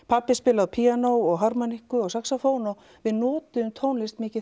pabbi spilaði á píanó harmonikku og saxófón og við notuðum tónlist mikið